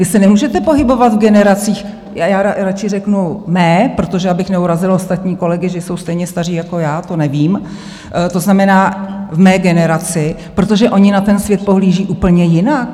Vy se nemůžete pohybovat v generacích - já radši řeknu mé, protože abych neurazila ostatní kolegy, že jsou stejně staří jako já, to nevím, to znamená v mé generaci - protože oni na ten svět pohlíží úplně jinak.